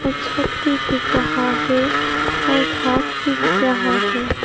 छत भी दिख रहा है और घास भी दिख रहा है।